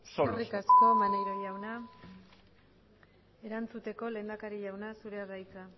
solos eskerrik asko maneiro jauna erantzuteko lehendakari jauna zurea da hitza